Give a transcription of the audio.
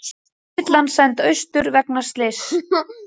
Þyrlan send austur vegna slyss